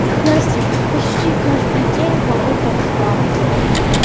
настя почти каждый день кого-то взламывают